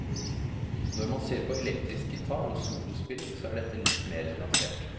Når man ser på elektrisk gitar, og solospilling, så er dette litt mer nyansert.